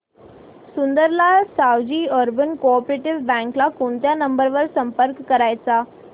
Sundarlal Savji urban co-op bank ला कोणत्या number वर संपर्क करायचा